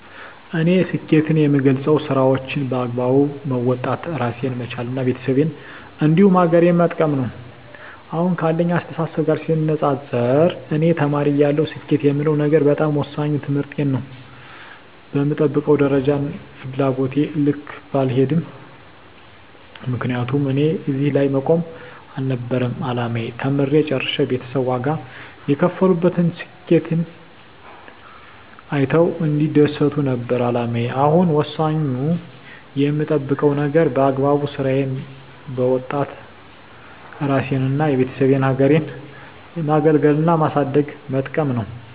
እኔ ስኬትን የምገልፀው ስራዎቸን በአግባቡ መወጣት እራሴን መቻል እና ቤተሰቤን እንዲሁም ሀገሬን መጥቀም ነው። አሁን ካለኝ አስተሳሰብ ጋር ሲነፃፀር እኔ ተማሪ እያለሁ ስኬት የምለው ነገር በጣም ወሳኙ ትምህርቴን ነው በምጠብቀው ደረጃና ፍላጎቴ ልክ ባይሄድም ምክንያቱም እኔ እዚህ ላይ መቆም አልነበረም አላማዬ ተምሬ ጨርሸ ቤተሰብ ዋጋ የከፈሉበትን ስኬቴን አይተው እንዲደሰቱ ነበር አላማዬ አሁን ወሳኙ የምጠብቀው ነገር በአግባቡ ስራዬን በወጣት እራሴንና የቤተሰቤን ሀገሬን ማገልገልና ማሳደግና መጥቀም ነው።